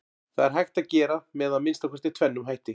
Það er hægt að gera með að minnsta kosti tvennum hætti.